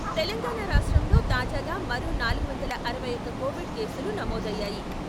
తెలంగాణ రాష్ట్రంలో తాజాగా మరో నాలుగు వందల అరవై ఒకటి కోవిడ్ కేసులు నమోదయ్యాయి.